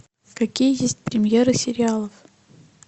какие есть премьеры сериалов